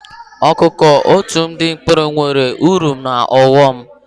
Ọkụ́kụ́ otu ụdị mkpụrụ enweere uru na ọghọm.